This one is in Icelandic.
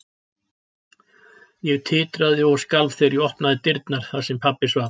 Ég titraði og skalf þegar ég opnaði dyrnar þar sem pabbi svaf.